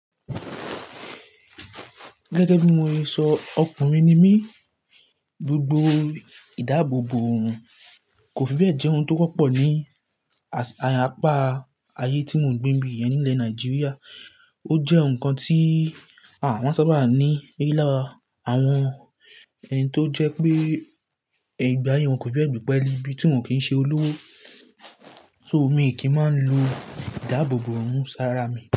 Gẹ́gẹ́ bí mo ṣe sọ ọkùnrin ni mí, gbogbo ìdáàbòbò òun kò fi bẹ́ẹ̀ jẹ́ ohun tó wọ́pọ̀ ní apá ayé tí mò ń gbé ní yẹn nílẹ̀ Nàìjíríà. Ó jẹ́ ohun kan tí àwọn sábà ní eyín lára àwọn ẹni tó jẹ́ pé ìgbà ayé wọn kò fi bẹ́ẹ̀ gbi pẹ́ẹ́lẹ́ ibi tí wọ́n kì í ṣe olówó. So mi kì í máa ń lo ìdáàbòbò òun sára mi.